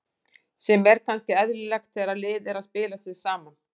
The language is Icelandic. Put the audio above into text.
Sem er kannski eðlilegt þegar lið er að spila sig saman.